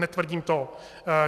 Netvrdím to.